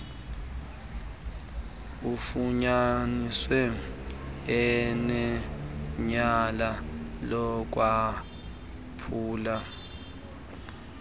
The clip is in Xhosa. ufunyaniswe enetyala lokwaphula